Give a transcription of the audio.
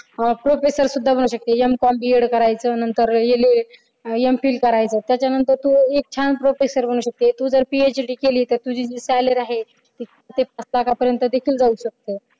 हा professor सुद्धा बनू शकते. M comB edit करायच नंतर LAM phil करायचं त्याच्यानंतर तू छान एक professor बनू शकते तू जर PhD केली तर तुझी salary आहे सात लाखापर्यंत देखील देऊ शकत